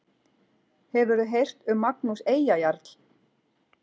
Hefurðu heyrt um Magnús Eyjajarl?